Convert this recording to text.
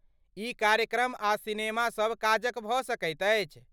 ई कार्यक्रम आ सिनेमासभ काजक भऽ सकैत अछि।